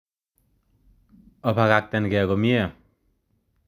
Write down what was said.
Obakaktenge komie.